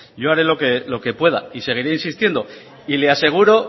yo haré lo que pueda y seguiré insistiendo le aseguro